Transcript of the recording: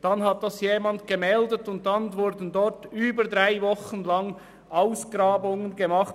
Dies hat jemand gemeldet, und daraufhin wurden an der entsprechenden Stelle während über drei Wochen Ausgrabungen gemacht.